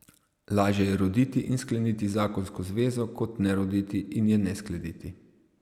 Lažje je roditi in skleniti zakonsko zvezo kot ne roditi in je ne skleniti.